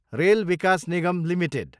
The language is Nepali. rail Vikas Nigam Ltd